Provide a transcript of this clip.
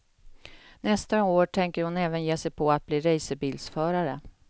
Nästa år tänker hon även ge sig på att bli racerbilsförare.